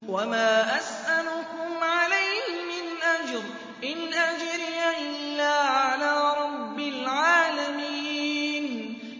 وَمَا أَسْأَلُكُمْ عَلَيْهِ مِنْ أَجْرٍ ۖ إِنْ أَجْرِيَ إِلَّا عَلَىٰ رَبِّ الْعَالَمِينَ